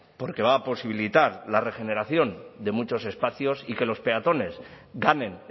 porque va a posibilitar la regeneración de muchos espacios y que los peatones ganen